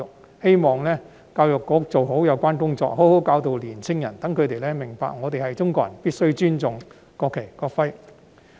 我希望教育局做好有關工作，好好教導年青人，讓他們明白我們是中國人，必須尊重國旗、國徽。